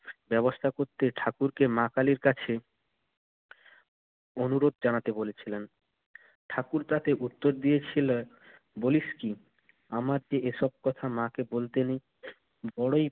ব্যবস্থা করতে ঠাকুরকে মা কালীর কাছে অনুরোধ জানাতে বলেছিলেন। ঠাকুর তাতে উত্তর দিয়েছিলেন, বলিস কি? আমারতো এসব কথা মাকে বলতে নেই। বড়ই